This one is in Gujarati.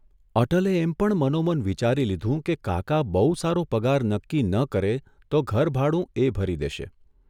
અટલે એમ પણ મનોમન વિચારી લીધું કે કાકા બહુ સારો પગાર નક્કી ન કરે તો ઘરભાડું એ ભરી દેશે.